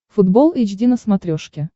футбол эйч ди на смотрешке